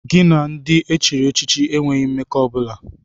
Gị na ndị e chiri echichi enweghị mmekọ ọ bụla!